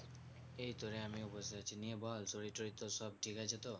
এইতো রে আমিও বসে আছি নিয়ে বল শরীর টোরির তোর সব ঠিকাছে তো?